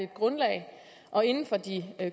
grundlag og inden for de